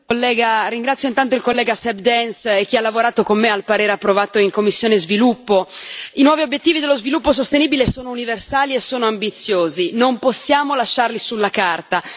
Signor Presidente, onorevoli colleghi, ringrazio intanto il collega Seb Dance e chi ha lavorato con me al parere approvato in commissione per lo sviluppo. I nuovi obiettivi dello sviluppo sostenibile sono universali e sono ambiziosi non possiamo lasciarli sulla carta.